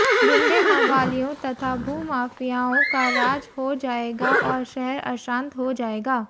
गुण्डे मवालियों तथा भू माफियाओं का राज हो जाएगा और शहर अशांत हो जाएगा